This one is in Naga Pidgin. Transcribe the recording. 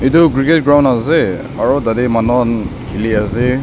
etu cricket ground ase aro tah teh manu khan khili ase.